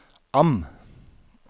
AM